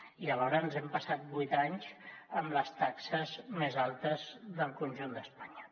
i alhora ens hem passat vuit anys amb les taxes més altes del conjunt d’espanya